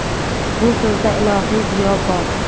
Bu so‘zda ilohiy ziyo bor.